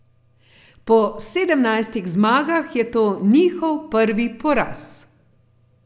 Po sedemnajstih zmagah je to njihov prvi poraz.